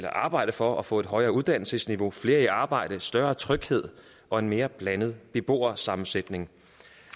arbejde for at få et højere uddannelsesniveau flere i arbejde større tryghed og en mere blandet beboersammensætning